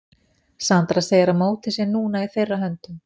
Sandra segir að mótið sé núna í þeirra höndum.